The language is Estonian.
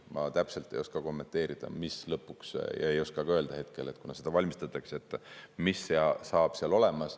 Ma täpselt ei oska kommenteerida ja ei oska ka öelda hetkel, kuna seda valmistatakse ette, mis lõpuks saab seal olema.